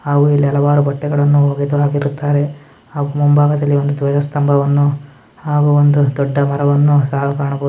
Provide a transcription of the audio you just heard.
ಹಾಗು ಇಲ್ಲಿ ಹಲವಾರು ಬಟ್ಟೆಗಳನ್ನು ಒಗೆದು ಹಾಕಿರುತ್ತಾರೆ ಹಾಗು ಮುಂಭಾಗದಲ್ಲಿ ಒಂದು ಧ್ವಜ ಸ್ತಂಭವನ್ನು ಹಾಗು ಒಂದು ದೊಡ್ಡ ಮರವನ್ನು ಸಹ ಕಾಣಬಹುದು.